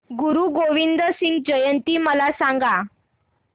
गुरु गोविंद सिंग जयंती मला सांगा